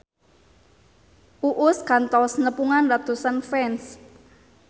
Uus kantos nepungan ratusan fans